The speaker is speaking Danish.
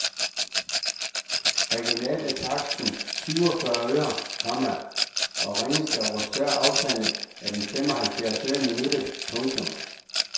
Regionalt er taksten syv og fyrre øre, komma og ringes der over større afstande er den fem og halvfjerds øre i minuttet. punktum